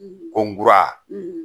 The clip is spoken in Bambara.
Kɔnkura